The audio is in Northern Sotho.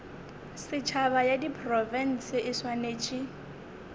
setšhaba ya diprofense e swanetše